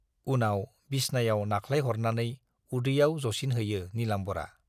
उनाव बिसनायाव नाख्लायहरनानै उदैयाव जसिनहैयो नीलाम्बरआ।